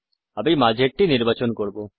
আমি মাঝেরটি নির্বাচন করব